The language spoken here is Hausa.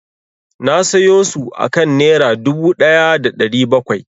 Na sayo su akan Nera dubu ɗaya da ɗari bakwai.